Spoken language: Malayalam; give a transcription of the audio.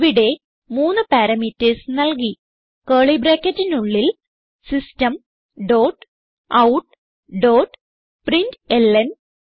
ഇവിടെ മൂന്ന് പാരാമീറ്റർസ് നൽകി കർലി ബ്രാക്കറ്റിനുള്ളിൽ system dot out dot println